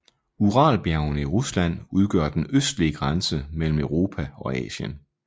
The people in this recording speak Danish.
Uralbjergene i Rusland udgør den østlige grænse mellem Europa og Asien